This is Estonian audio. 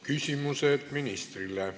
Küsimused ministrile.